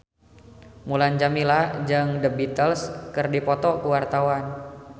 Mulan Jameela jeung The Beatles keur dipoto ku wartawan